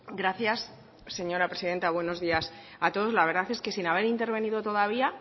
gracias señora presidenta buenos días a todos la verdad es que sin haber intervenido todavía